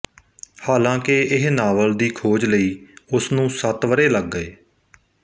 ਹਾਲਾਂਕਿ ਇਹ ਨਾਵਲ ਦੀ ਖੋਜ ਲਈ ਉਸ ਨੂੰ ਸੱਤ ਵਰ੍ਹੇ ਲੱਗ ਗਏ